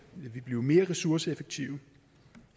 vi blive mere ressourceeffektive